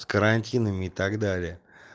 с карантинами и так далее